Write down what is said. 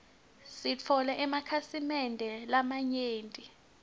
sitfole emakhasi mende lamanyenti